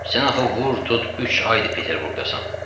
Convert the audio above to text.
Sən axı vur tut üç aydır Peterburqdasansan.